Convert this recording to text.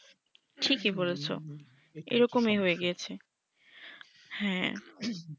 ঠিকই বলেছো এইরকমই হয়ে গিয়েছে হ্যা